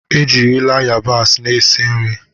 Ejirila ayabasị na-esi nri.